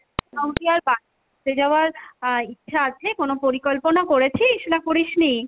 এখন কি আর আহ ইচ্ছা আছে কোনো পরিকল্পনা করেছিস না করিসনি?